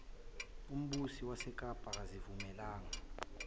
umbusi wasekapa akazivumelanga